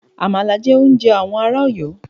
Àmàlà jẹ́ oúnjẹ àwọn ará Ọ̀yọ́.